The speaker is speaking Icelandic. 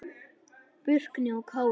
Burkni og Kári.